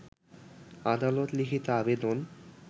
আদালত লিখিত আবেদন